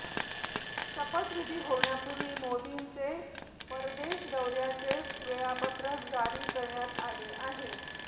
शपथविधी होण्यापूर्वी मोदींचे परदेश दौऱयांचे वेळापत्रक जारी करण्यात आले आहे